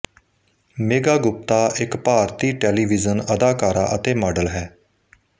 ਮੇਘਾ ਗੁਪਤਾ ਇੱਕ ਭਾਰਤੀ ਟੈਲੀਵਿਜ਼ਨ ਅਦਾਕਾਰਾ ਅਤੇ ਮਾਡਲ ਹੈ